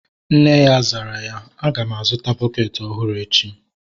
Nne ya zara ya, a ga m a zụta bukeeti ọhụrụ echi